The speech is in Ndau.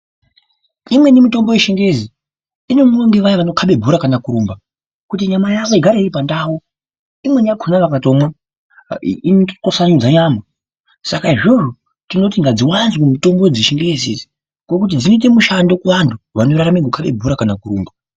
Imweni mitombo yechingezi inomwiwa ngevaya vanokabe bhora kana kurumba kuti nyama yavo iyi igare iri pandau , imweni yakona vakatomwa inotwasanudza nyama saka izvozvo tinoti ngadziwanzwe mutombo dzechingezi idzi ngokuti dzinoite mushando kuvantu vanorarame ngekukabe bhora kana kurumba.